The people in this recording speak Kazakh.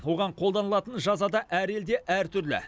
оған қолданылатын жаза да әр елде әр түрлі